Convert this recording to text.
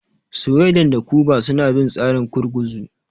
Sweden da Kuba suna bin tsarin gurguzu.